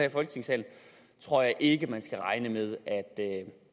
i folketingssalen tror jeg ikke man skal regne med